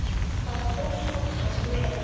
Það tókst oftast vel.